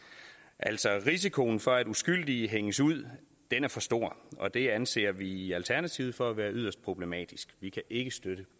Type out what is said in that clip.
altså risikoen for at uskyldige hænges ud er for stor og det anser vi i alternativet for at være yderst problematisk vi kan ikke støtte